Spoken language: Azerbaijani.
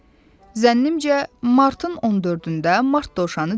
Zənnimcə, Martın 14-də Mart Dovşanı dedi: